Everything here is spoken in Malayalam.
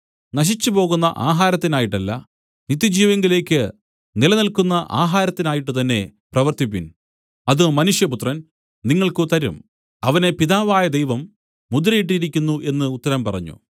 നശിച്ചുപോകുന്ന ആഹാരത്തിനായിട്ടല്ല നിത്യജീവങ്കലേക്ക് നിലനില്ക്കുന്ന ആഹാരത്തിനായിട്ടുതന്നെ പ്രവർത്തിപ്പിൻ അത് മനുഷ്യപുത്രൻ നിങ്ങൾക്ക് തരും അവനെ പിതാവായ ദൈവം മുദ്രയിട്ടിരിക്കുന്നു എന്നു ഉത്തരം പറഞ്ഞു